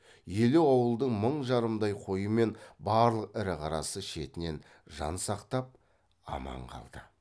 елу ауылдың мың жарымдай қойы мен барлық ірі қарасы шетінен жан сақтап аман қалды